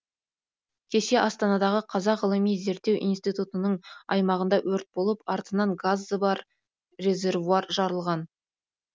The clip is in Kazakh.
кеше астанадағы қазақ ғылыми зерттеу институтының аймағында өрт болып артынан газы бар резервуар жарылған